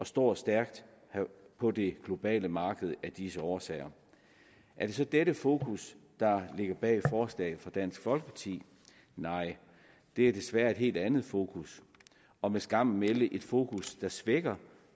står stærkt på det globale marked af disse årsager er det så dette fokus der ligger bag forslaget fra dansk folkeparti nej det er desværre et helt andet fokus og med skam at melde et fokus der svækker